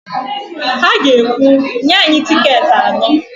Ha ga-ekwu, "nye anyị tịketị anọ"!